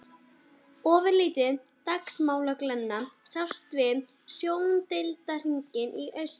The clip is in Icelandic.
Ofurlítil dagmálaglenna sást við sjóndeildarhring í austri.